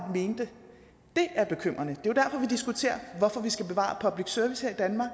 dét er bekymrende det er diskuterer hvorfor vi skal bevare public service her i danmark